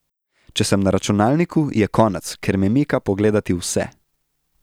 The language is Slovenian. Če sem na računalniku, je konec, ker me mika pogledati vse.